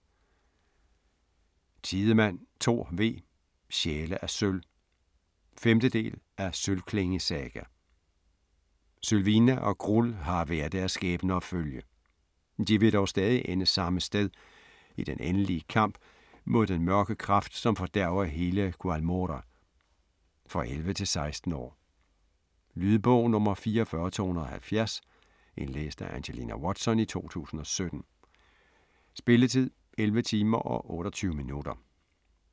Tidemand, Thor V.: Sjæle af sølv 5. del af Sølvklinge saga. Sylvina og Grull har hver deres skæbne at følge. De vil dog stadig ende samme sted: i den endelige kamp mod den mørke kraft som fordærver hele Qualmora. For 11-16 år. Lydbog 44270 Indlæst af Angelina Watson, 2017. Spilletid: 11 timer, 28 minutter.